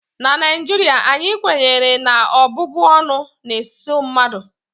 na Naijiria anyị kwenyere na ọbụbụ ọnụ na-eso mmadụ